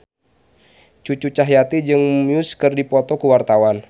Cucu Cahyati jeung Muse keur dipoto ku wartawan